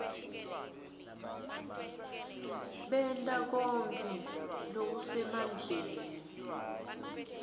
benta konkhe lokusemandleni